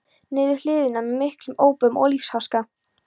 niður hlíðina með miklum ópum og lífsháska.